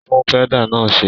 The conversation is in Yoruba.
Tún pẹ́dà náà ṣe!